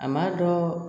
A ma dɔ